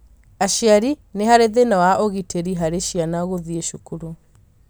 Aciari nĩ harĩ thĩna wa ũgitĩri harĩ ciana gũthiĩ cukuru